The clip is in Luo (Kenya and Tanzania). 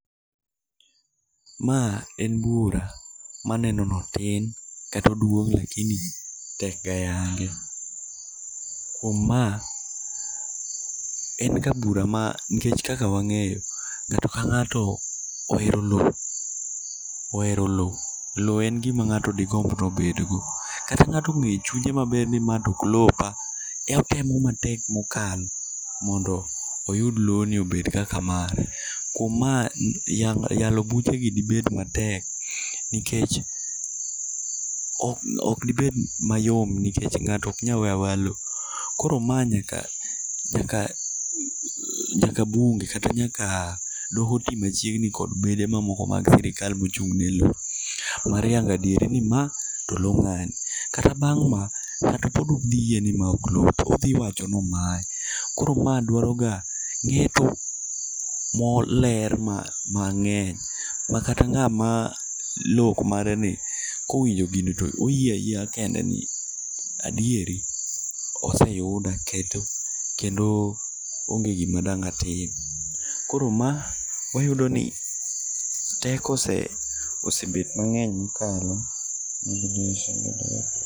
Ma en bura maneno ni otin, kata oduong' tekga yale. Kuom ma en ga bura ma nikech kaka wang'eyo, ng'ato ka ng'ato ohero lowo ohero lowo. Lowo en gima ng'ato digomb ni obedgo. Kata ng'ato ong'eyo e chunye maber ni mae to ok en lopa to otemo matek mokalo mondo oyud lobni obed kaka mare. Kuom ma yalo buchegi dibed matek nikech ok dibed mayom nikech ng'ato ok nyal weyo aweya lowo. Koro mae nyaka nyaka bunge kata nyaka doho mantie machiegni kod bede moko mag sirkal mochung' ne lowo mar yango adieri ni ma to loo ng'ani. Kata bang' ma ng'ato pod ok oyie ni mae ok lope odhi wacho ni omaye. Koro mae dwaroga ng'eto moler mang'eny makata ng'ama lowo ok mare ni kowinjo gini to oyie ayieya kende ni adieri ose oyuda kendo kendo onge gima dang' atim koro ma wayudo ni teko osebet mang' eny mokalo.